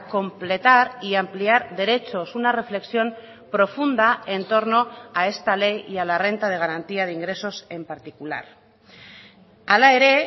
completar y ampliar derechos una reflexión profunda en torno a esta ley y a la renta de garantía de ingresos en particular hala ere